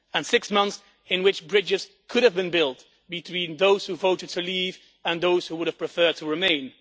six months in which bridges could have been built between those who voted to leave and those who would have preferred to remain.